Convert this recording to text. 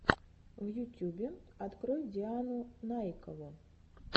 в ютюбе открой диану наикову